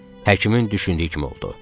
Həkimin düşündüyü kimi oldu.